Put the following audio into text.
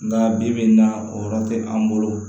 Nga bi bi in na o yɔrɔ te an bolo